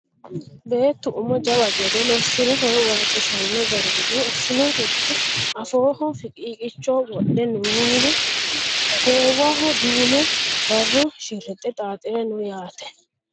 Beettu umo jawa gede lossire horo waajjishanno garinni assirinohi afooho fiqiiqicho wodhe noowa goowaho duume barro shirrixxe xaaxire no yaate